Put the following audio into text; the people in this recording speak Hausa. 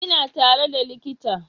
Ina tare da likita